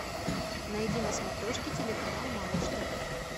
найди на смотрешке телеканал малыш тв